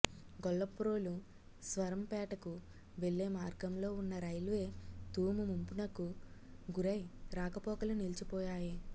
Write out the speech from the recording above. గొల్లప్రోలు స్వరంపేటకు వెళ్లే మార్గంలో ఉన్న రైల్వే తూము ముంపునకు గురై రాకపోకలు నిలిచిపోయాయి